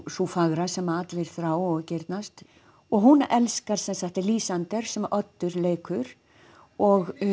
sú fagra sem allir þrá og girnast og hún elskar sem sagt Lýsander sem Oddur leikur og